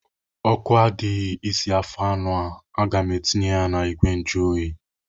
Ọkụ adịghị isi afọ anụ a. Aga m etinye ya n'igwe njuoyi.